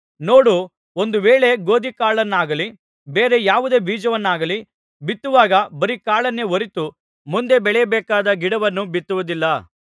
ನೋಡು ಒಂದು ವೇಳೆ ಗೋದಿಯಕಾಳನ್ನಾಗಲಿ ಬೇರೆ ಯಾವುದೇ ಬೀಜವನ್ನಾಗಲಿ ಬಿತ್ತುವಾಗ ಬರೀ ಕಾಳನ್ನೇ ಹೊರತು ಮುಂದೆ ಬೆಳೆಯಬೇಕಾದ ಗಿಡವನ್ನು ಬಿತ್ತುವುದಿಲ್ಲ